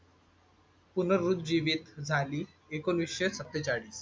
पुनरुज्जीवित झाली एकोणवीसशे सत्तेचाळीस